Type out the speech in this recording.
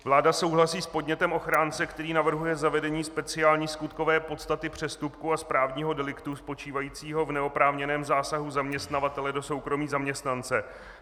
Vláda souhlasí s podnětem ochránce, který navrhuje zavedení speciální skutkové podstaty přestupku a správního deliktu spočívajícího v neoprávněném zásahu zaměstnavatele do soukromí zaměstnance.